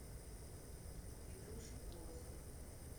петруша колосов